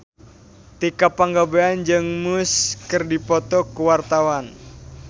Tika Pangabean jeung Muse keur dipoto ku wartawan